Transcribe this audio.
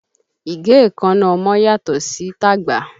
Ìgé ẹ̀ẹ́kánná ọmọ yàtọ̀ sí tàgbà